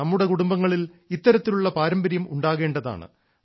നമ്മുടെ കുടുംബങ്ങളിൽ ഇത്തരത്തിലുള്ള പാരമ്പര്യം ഉണ്ടാകേണ്ടതാണ്